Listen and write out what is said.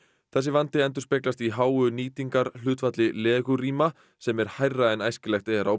þessi vandi endurspeglast í háu nýtingarhlutfalli legurýma sem er hærra en æskilegt er á